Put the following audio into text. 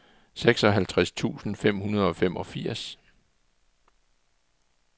seksoghalvtreds tusind fem hundrede og femogfirs